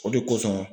O de kosɔn